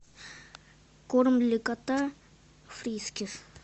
корм для кота фрискис